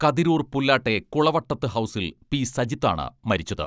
കതിരൂർ പുല്ലാട്ടെ കുളവട്ടത്ത് ഹൗസിൽ പി സജിത്താണ് മരിച്ചത്.